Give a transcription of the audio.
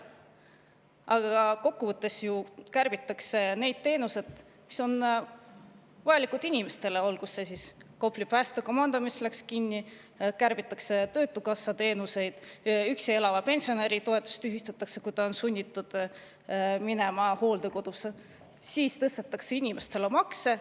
Aga kokkuvõttes ju kärbitakse neid teenuseid, mis on inimestele vajalikud, olgu see Kopli päästekomando, mis läks kinni, või töötukassa teenused, mida kärbitakse, üksi elava pensionäri toetus tühistatakse, kui ta on sunnitud minema hooldekodusse, tõstetakse inimestel makse.